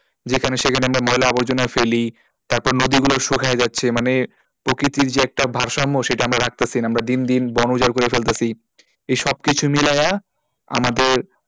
যেখানে সেখানে আমরা ময়লা আবর্জনা ফেলি তারপর নদীগুলো শুখিয়ে যাচ্ছে মানে প্রকৃতির যে একটা ভারসাম্য সেটা আমরা রাখতাছি না আমরা দিনদিন বোন উজাড় করে ফেলতাছি এই সব কিছু মিলাইয়া আমাদের,